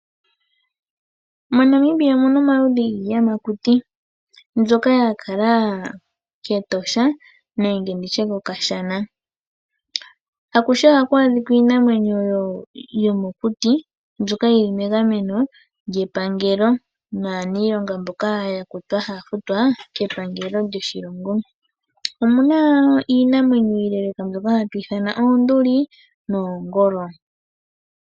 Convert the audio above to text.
MoNamibia omu na omaludhi giiyamakuti mbyoka ya kala kEtosha nenge ndi tye kOkashana. Akuhe ohaku adhika iinamwenyo yomokuti mbyoka yi li megameno lyepangelo naaniilonga mboka ya kutwa haya futwa kepangelo lyoshilongo. Omu na iinamwenyo iileeleka mbyoka hatu ithana oonduli noshowo oongolo.